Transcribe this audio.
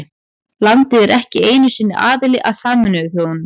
Landið er ekki einu sinni aðili að Sameinuðu þjóðunum.